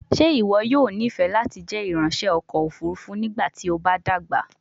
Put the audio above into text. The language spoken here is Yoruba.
Ṣe iwọ yoo nifẹ lati jẹ iranṣẹ ọkọ ofurufu nigbati o ba dagba?